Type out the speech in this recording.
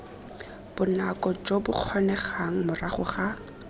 bonako jo bokgonegang morago ga